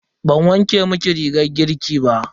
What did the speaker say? Ban wanke miki rigar girki ba.